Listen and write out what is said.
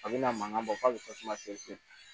A bina mankan bɔ k'a bɛ tasuma tigɛ sen